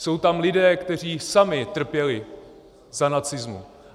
Jsou tam lidé, kteří sami trpěli za nacismu.